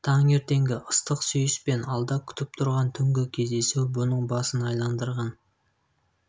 таңертеңгі ыстық сүйіс пен алда күтіп тұрған түнгі кездесу бұның басын айналдырған